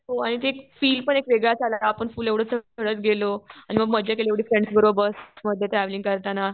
हो आणि ते फील पण एक वेगळाच आला. आपण फुल असं एवढं चढत गेलो.आणि मग मजा केली एवढी फ्रेंड्स बरोबर. मग ते ट्रॅव्हलिंग करताना.